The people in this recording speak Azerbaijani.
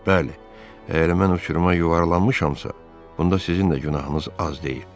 Bəli, əgər mən o çuruma yuvarlanmışamsa, bunda sizin də günahınız az deyil.